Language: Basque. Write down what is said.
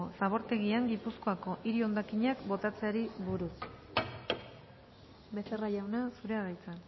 zabortegian gipuzkoako hiri hondakinak botatzeari buruz becerra jauna zurea da hitza